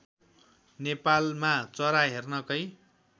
नेपालमा चरा हेर्नकै